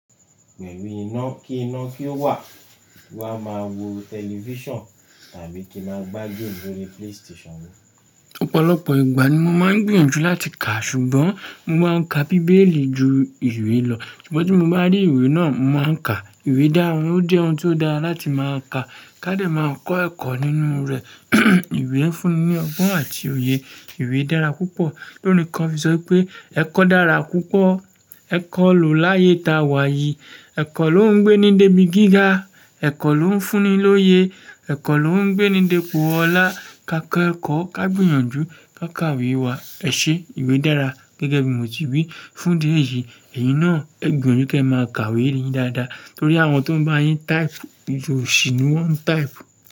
Pẹ̀lú iná kí iná kí ó wà, mo máa maa wo television tàbí kí n máa gbá game lórí PlayStation mi. Ọ̀pọ̀lọpọ̀ ìgbà ni mo máa ń gbìyànjú láti kà, ṣùgbọ́n mo máa ń ka bíbélì ju ìwé lọ. Ṣùgbọ́n tí mo bá rí ìwé náà, mo máa ń ka. Ìwé dára, ó jẹ́ ohun tó dára láti máa ka. Ká dé máa kọ́ ẹ̀kọ́ nínú rẹ̀. Ìwé ń fúnni ní ọgbọ́n àti òye. Ìwé dára púpọ̀. Lórìn kan fi sọ wipé, "Ẹ̀kọ́ dára púpọ̀, ẹ̀kọ́ lò láyé ta wàyìí. Ẹ̀kọ́ ló ń gbé ni débi gíga. Ẹ̀kọ́ ló ń fúnni lóye. Ẹ̀kọ́ ló ń gbé ni d'epo ọlá." Ka kẹ́ ẹ̀kọ́, ká gbìyànjú, ká kàwé wa. Ẹ ṣe, ìwé dára. Gẹ́gẹ́ bí mo ti wí fún idi éyí, èyín náà e gbìyànjú kí ẹ máa kàwé yín dáadáa. Nítorí àwọn tó ń bá yín type, osi ni wọ́n type.